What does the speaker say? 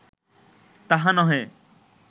তাহা নহে